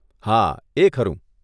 હા, એ ખરું.